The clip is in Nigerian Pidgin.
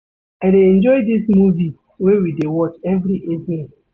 I dey enjoy dis movie wey we dey watch every evening.